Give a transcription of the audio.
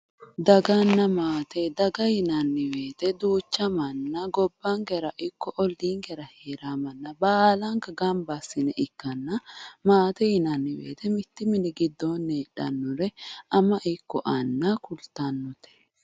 daganna maate, daga yinanni woyte duucha manna gobbankera ikko olliinkera hee'ranno mnna baalanka gamba assi'ne ikkanna ,maatete yinnannihu mittu mini giddonni heedhannore ama ikko anna kultanote.